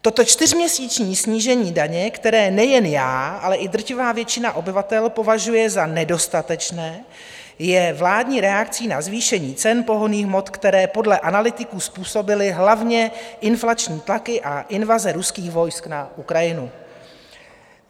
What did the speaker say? Toto čtyřměsíční snížení daně, které nejen já, ale i drtivá většina obyvatel považuje za nedostatečné, je vládní reakcí na zvýšení cen pohonných hmot, které podle analytiků způsobily hlavně inflační tlaky a invaze ruských vojsk na Ukrajinu.